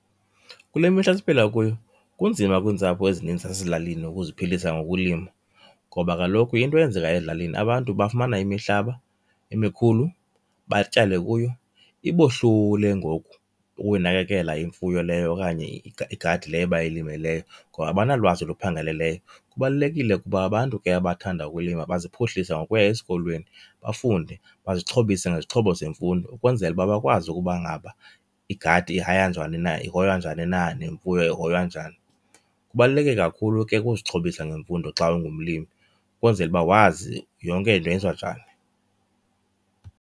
Kule mihla siphila kuyo kunzima kwiintsapho ezininzi ezilalini ukuziphilisa ngokulima ngoba kaloku into eyenzekayo ezilalini abantu bafumana imihlaba emikhulu batyale kuyo, ibohlule ngoku ukuyinakekela imfuyo leyo okanye igadi leyo bayilimileyo ngoba abanalwazi luphangaleleyo. Kubalulekile ukuba abantu ke abathanda ukulima baziphuhlise ngokuya esikolweni, bafunde bazixhobise ngezixhobo zemfundo ukwenzela uba bakwazi ukuba ngaba igadi ihoywa njani na nemfuyo ihoywa njani. Kubaluleke kakhulu ke ukuzixhobisa ngemfundo xa ungumlimi ukwenzela uba wazi yonke into yenziwa njani.